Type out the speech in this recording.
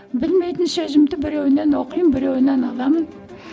білмейтін сөзімді біреуінен оқимын біреуінен аламын